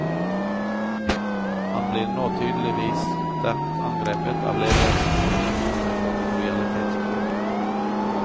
Han blir nå tydeligvis sterkt angrepet av ledelsen ved skolen for lojalitetsbrudd.